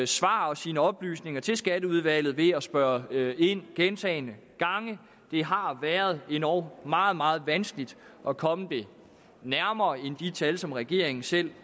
svar og sine oplysninger til skatteudvalget ved at spørge ind til gentagne gange det har været endog meget meget vanskeligt at komme det nærmere end de tal som regeringen selv